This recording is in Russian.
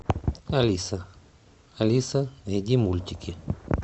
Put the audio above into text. алиса алиса найди мультики